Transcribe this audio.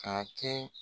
Ka kɛ